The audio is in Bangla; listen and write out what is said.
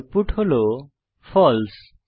আউটপুট হল ফালসে